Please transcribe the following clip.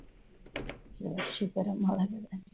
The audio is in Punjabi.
ਚਲੋ ਸ਼ੁਕਰ ਆ ਮਹਾਰਾਜ ਦਾ।